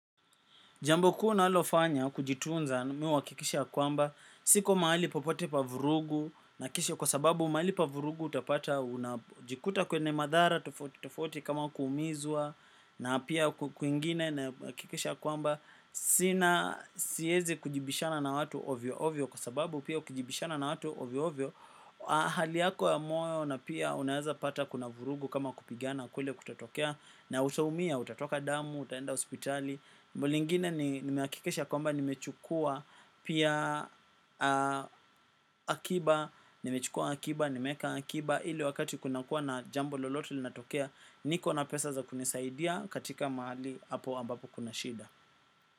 Jambo kuu nalofanya kujitunza mi huhakikisha kwamba siko mahali popote pa vurugu na kisha kwa sababu mahali pa vurugu utapata unajikuta kwenye madhara tofauti tofauti kama kuumizwa na pia kwingine nahakikisha kwamba sina siezi kujibishana na watu ovyo ovyo kwa sababu pia ukujibishana na watu ovyo ovyo. Hali yako ya moyo na pia unaeza pata kuna vurugu kama kupigiana kule kutatokea. Na utaumia, utatoka damu, utaenda hospitali lingine ni nimehakikisha kwamba nimechukua pia akiba. Nimechukua akiba, nimeeka akiba. Ili wakati kunakuwa na jambo lolote linatokea niko na pesa za kunisaidia katika mahali hapo ambapo kuna shida.